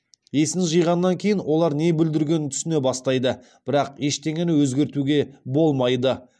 есін жиғаннан кейін олар не бүлдіргенін түсіне бастайды бірақ ештеңені өзгертуге болмайды